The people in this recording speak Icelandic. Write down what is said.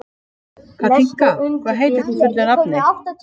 Katinka, hvað heitir þú fullu nafni?